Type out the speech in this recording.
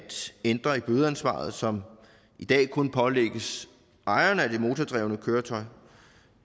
ændre i bødeansvaret som i dag kun pålægges ejeren af det motordrevne køretøj